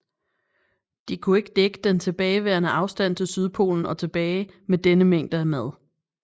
De kunne ikke dække den tilbageværende afstand til Sydpolen og tilbage med denne mængde af mad